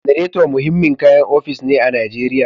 Generator muhimmin kayan ofis ne a Najeriya